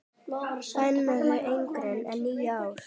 Bönnuð yngri en níu ára.